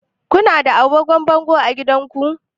Ku na da agogon bango a gidanku?